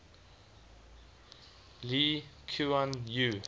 lee kuan yew